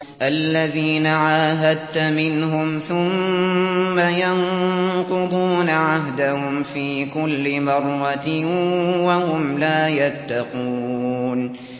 الَّذِينَ عَاهَدتَّ مِنْهُمْ ثُمَّ يَنقُضُونَ عَهْدَهُمْ فِي كُلِّ مَرَّةٍ وَهُمْ لَا يَتَّقُونَ